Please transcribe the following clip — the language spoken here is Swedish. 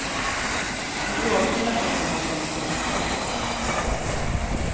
En bråkdel av pengarna har kommit till rätta.